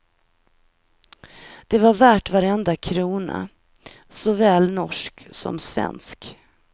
Det var värt varenda krona, såväl norsk som svensk.